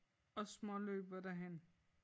Og småløber derhen